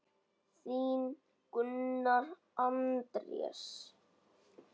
Þinn, Gunnar Andrés.